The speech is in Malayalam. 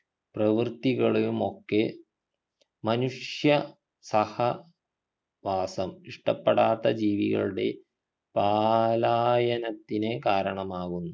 പ്രവൃത്തികളെയുമൊക്കെ മനുഷ്യ സഹ വാസം ഇഷ്ടപ്പെടാത്ത ജീവികളുടെ പാലായനത്തിനു കാരണമാകുന്നു